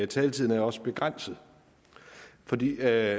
taletiden er også begrænset for det